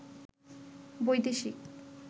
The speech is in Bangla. বৈদেশিক